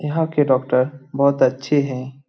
यहाँ के डॉक्टर बहुत अच्छे हैं।